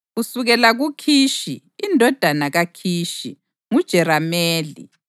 Kusukela kuKhishi: indodana kaKhishi: nguJerameli.